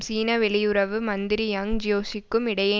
சீன வெளியுறவு மந்திரி யாங் ஜியேசிக்கும் இடையே